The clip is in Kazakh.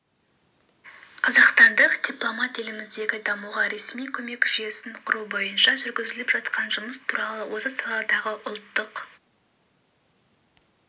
қазақстандық дипломат еліміздегі дамуға ресми көмек жүйесін құру бойынша жүргізіліп жатқан жұмыс туралы осы саладағы ұлттық